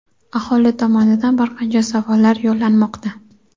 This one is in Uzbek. aholi tomonidan bir qancha savollar yo‘llanmoqda.